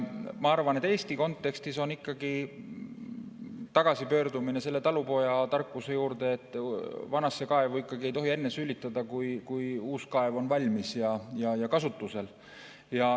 Ma arvan, et Eesti kontekstis on ikkagi tagasipöördumine talupojatarkuse juurde, et vanasse kaevu ei tohi enne sülitada, kui uus kaev on valmis ja kasutusel.